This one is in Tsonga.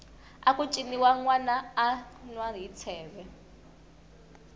aku ciniwa nwana a anwa hi tsheve